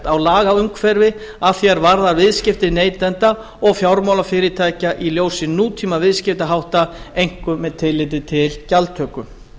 á lagaumhverfi að því er varðar viðskipti neytenda og fjármálafyrirtækja í ljósi nútímaviðskiptahátta einkum með tilliti til gjaldtöku